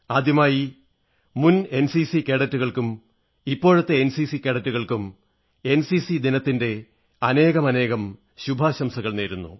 ആദ്യമായി മുൻ എൻസിസി കേഡറ്റുകൾക്കും ഇപ്പോഴത്തെ എൻസിസി കേഡറ്റുകൾക്കും എൻസിസി ദിനത്തിന്റെ അനേകമനേകം ശുഭാശംസകൾ നേരുന്നു